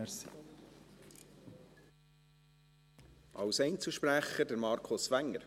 Als Einzelsprecher, Markus Wenger.